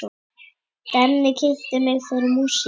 Denni kynnti mig fyrir músík.